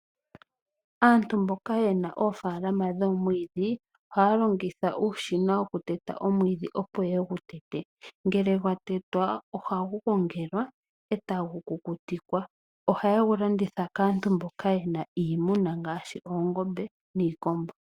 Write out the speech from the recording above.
Aantu mboka ye na oofaalama dhomwiidhi. Oha ya longitha uushina wo ku teta omwiidhi, opo ye gu tete, ngele gwa tetwa. Oha gu gongelwa, ee ta gu kukutikwa. Oha ye gu landitha kaantu mboka ye na iimuna ngaashi oongombe, niikombo.